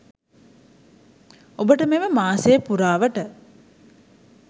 ඔබට මෙම මාසය පුරාවට